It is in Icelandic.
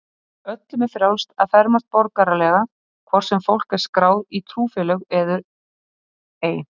Öllum er frjálst að fermast borgaralega, hvort sem fólk er skráð í trúfélög eður ei.